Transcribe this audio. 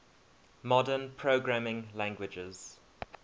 modern programming languages